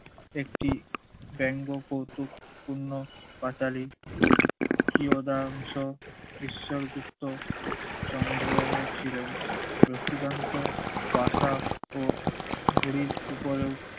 একটি বেঙ্গ কৌতুকপূর্ণ পাঁচালী চিরদাংশ ঈশ্বর গুপ্ত সংগ্রহ ছিলেন। লক্ষীকান্ত ভাষা ও ঘুড়ির উপরেও